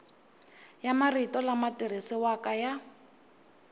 ya marito lama tirhisiwaka ya